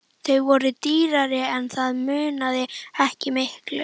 Þau voru dýrari en það munaði ekki miklu.